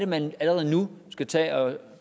man allerede nu skal tage og